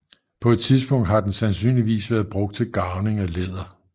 På et tidspunkt har den sandsynligvis været brugt til garvning af læder